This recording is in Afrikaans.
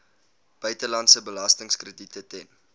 buitelandse belastingkrediete ten